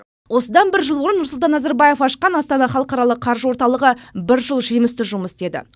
осыдан бір жыл бұрын нұрсұлтан назарбаев ашқан астана халықаралық қаржы орталығы бір жыл жемісті жұмыс істеді